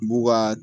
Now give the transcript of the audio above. B'u ka